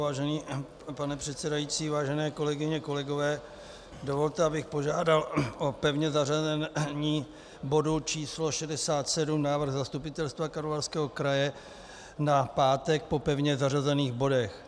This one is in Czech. Vážený pane předsedající, vážené kolegyně, kolegové, dovolte, abych požádal o pevné zařazení bodu číslo 67, návrh zastupitelstva Karlovarského kraje, na pátek po pevně zařazených bodech.